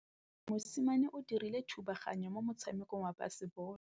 Mosimane o dirile thubaganyô mo motshamekong wa basebôlô.